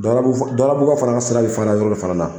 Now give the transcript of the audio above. Dawudabugukaw fana ka sira bɛ fara yɔrɔ de fana na